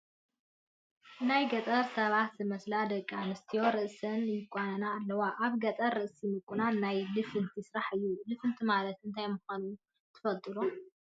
ናይ ገጠር ሰባት ዝመስላ ደቂ ኣንስትዮ ርእሰን ይቋነና ኣለዋ፡፡ ኣብ ገጠር ርእሲ ምቑናን ናይ ልፍንቲ ስራሕ እዩ፡፡ ልፍንቲ ማለት እንታይ ምዃኑ ትፈልጡ ዶ?